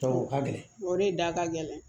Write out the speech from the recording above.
o ka gɛlɛn o de da ka gɛlɛn